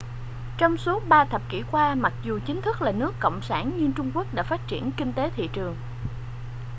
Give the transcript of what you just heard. trong suốt ba thập kỷ qua mặc dù chính thức là nước cộng sản nhưng trung quốc đã phát triển kinh tế thị trường